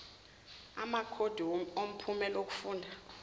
amakhodi omphumela wokufunda